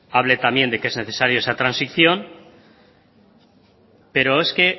hable también de que es necesaria esa transición pero es que